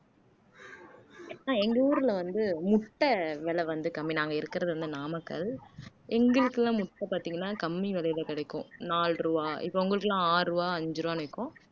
அஹ் எங்க ஊர்ல வந்து முட்டை விலை வந்து கம்மி நாங்க இருக்குறது வந்து நாமக்கல் எங்களுக்கெல்லாம் முட்டை பார்த்தீங்கன்னா கம்மி விலையில கிடைக்கும் நாலு ரூபாய் இப்ப உங்களுக்கு எல்லாம் ஆறு ரூபாய் அஞ்சு ரூபாய் விக்கும்